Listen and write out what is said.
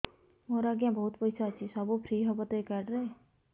ମୋର ଆଜ୍ଞା ବହୁତ ପଇସା ଅଛି ସବୁ ଫ୍ରି ହବ ତ ଏ କାର୍ଡ ରେ